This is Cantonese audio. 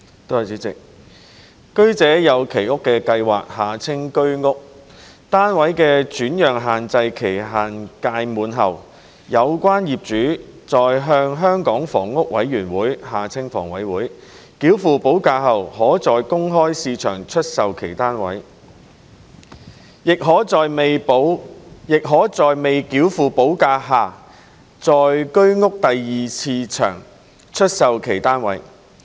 主席，居者有其屋計劃單位的轉讓限制期屆滿後，有關業主在向香港房屋委員會繳付補價後可在公開市場出售其單位，亦可在未繳付補價下在居屋第二市場出售其單位。